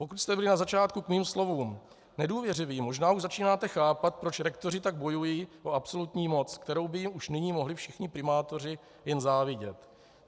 Pokud jste byli na začátku k mým slovům nedůvěřiví, možná už začínáte chápat, proč rektoři tak bojují o absolutní moc, kterou by jim už nyní mohli všichni primátoři jen závidět.